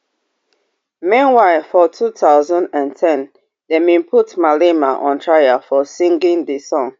meanwhile for two thousand and ten dem bin put malema on trial for singing di song